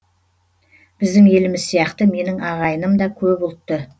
біздің еліміз сияқты менің ағайыным да көп ұлтты